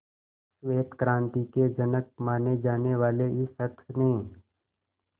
श्वेत क्रांति के जनक माने जाने वाले इस शख्स ने